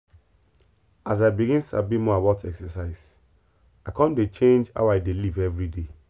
as i begin sabi more about exercise i come dey change how i dey live every day.